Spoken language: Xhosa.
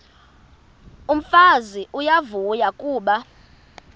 umfazi uyavuya kuba